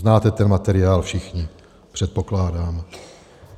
Znáte ten materiál všichni, předpokládám.